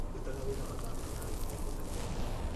Ndutaga wĩra mathaa manana o mũthenya